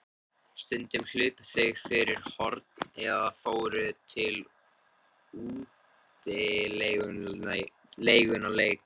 Stundum hlupu þau fyrir horn eða fóru í útilegumannaleik.